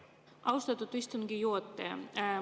Austatud istungi juhataja!